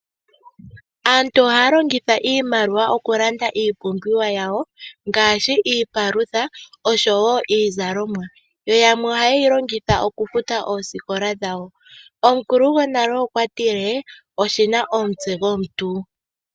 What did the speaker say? Aantu oha ya longitha iimaliwa okulanda iipumbiwa yawo, ngaashi iipalutha niizalomwa. Yamwe oha ye yilongitha okufuta osikola dhawo. Omukulu gwonale okwa tile, oshina omutse gwomontu.